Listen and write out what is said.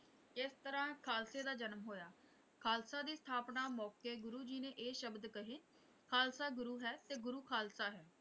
ਇਸ ਤਰ੍ਹਾਂ ਖ਼ਾਲਸੇ ਦਾ ਜਨਮ ਹੋਇਆ ਖ਼ਾਲਸਾ ਦੀ ਸਥਾਪਨਾ ਮੌਕੇ ਗੁਰੂ ਜੀ ਨੇ ਇਹ ਸ਼ਬਦ ਕਹੇ ਖ਼ਾਲਸਾ ਗੁਰੂ ਹੈ ਤੇ ਗੁਰੂ ਖ਼ਾਲਸਾ ਹੈ।